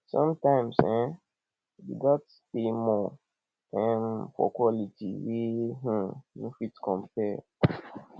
sometimes um we gats pay more um for quality wey um no fit compare